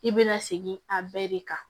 I bɛ na segin a bɛɛ de kan